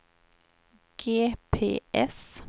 GPS